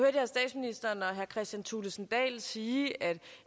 herre kristian thulesen dahl sige at